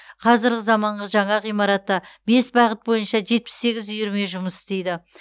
қазіргі заманғы жаңа ғимаратта бес бағыт бойынша жетпіс сегіз үйірме жұмыс істейді